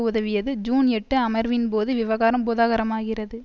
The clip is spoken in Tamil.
உதவியது ஜூன் எட்டு அமர்வின்போது விவகாரம் பூதாகரமாகிறது